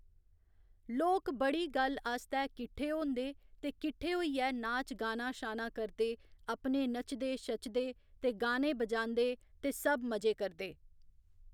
लोक बड़ी गल्ल आस्तै किट्ठे होंदे ते किट्ठे होइयै नाच गाना शाना करदे अपने नच्चदे शच्चदे ते गाने बजांदे ते सब मजे करदे